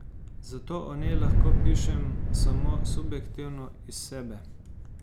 Zato o njej lahko pišem samo subjektivno, iz sebe.